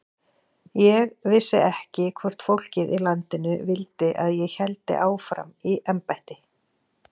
Ég vissi ekki hvort fólkið í landinu vildi að ég héldi áfram í embætti.